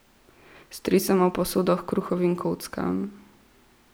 Stresemo v posodo h kruhovim kockam.